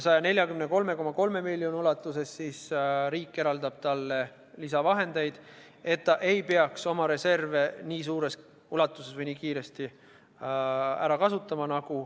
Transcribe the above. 143,3 miljoni euro ulatuses eraldab riik talle lisavahendeid, et ta ei peaks oma reserve nii suures ulatuses või nii kiiresti ära kasutama.